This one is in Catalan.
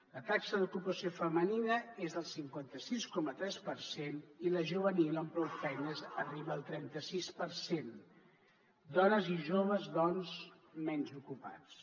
la taxa d’ocupació femenina és del cinquanta sis coma tres per cent i la juvenil amb prou feines arriba al trenta sis per cent dones i joves doncs menys ocupats